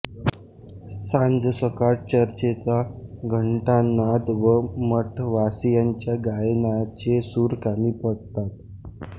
सांजसकाळ चर्चचा घंटानाद व मठवासीयांच्या गायनाचे सूर कानी पडतात